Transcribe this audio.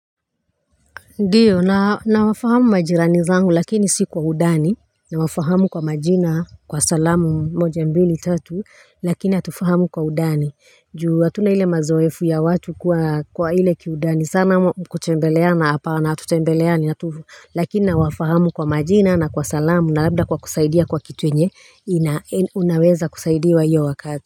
Ndiyo na nawafahamu majirani zangu lakini si kwa udani, nawafahamu kwa majina, kwa salamu moja mbili tatu Lakini atufahamu kwa udani. Juu hatuna ile mazoefu ya watu kwa kwa ile kiudani sana ama kutembeleana hapana hatutembeleani. Hatu Lakini nawafahamu kwa majina na kwa salamu na labda kwa kusaidia kwa kitu yenye ina i unaweza kusaidiwa iyo wakati.